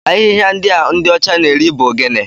Ahịhịa ndị a ndị ọcha na-eri bụ gịnị?